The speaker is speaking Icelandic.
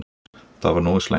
Það var nógu slæmt.